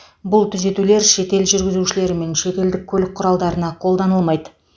бұл түзетулер шетел жүргізушілері мен шетелдік көлік құралдарына қолданылмайды